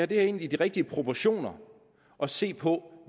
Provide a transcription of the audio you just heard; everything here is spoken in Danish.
det her ind i de rigtige proportioner og se på